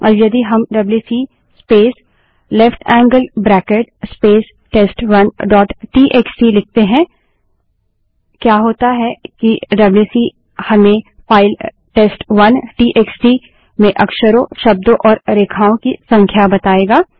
अब यदि हम WC space left handed bracket space test one dot TXT WC space left angled bracket space test one dot TXT लिखते हैं क्या होता है कि डब्ल्यूसी हमें फाइल टेस्ट1 टीएक्सटी में अक्षरों शब्दों और रेखाओं की संख्या बतायेगा